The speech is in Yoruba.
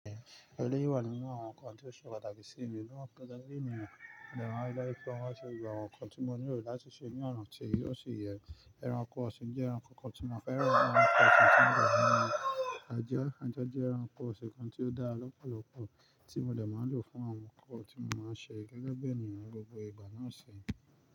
Eléyìí wà nínú àwọn ǹkan tí ó ṣe pàtàkì sí mi náà gẹ́gẹ́ bíi ènìyàn. Mo dẹ̀ ma ń rí dájú pé mo ṣe gbogbo àwọn ǹkan tí mo nílò láti ṣe ní ọ̀nà tí ó sì yẹ. Ẹranko ọ̀sìn jẹ́ ẹranko kan tí mo fẹ́ràn, ẹranko ọ̀sìn tí mo dẹ̀ ní ajá, ajá jẹ́ ẹranko ọ̀sìn kan tí ó dá lọ́pọ̀lọ́pọ̀, tí mo dẹ̀ máa ń lò fún àwọn nǹkan tí mo máa ń ṣe gẹ́gẹ́ bí ènìyàn ní gbogbo ìgbà náà ṣe.